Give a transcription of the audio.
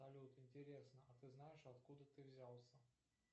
салют интересно а ты знаешь откуда ты взялся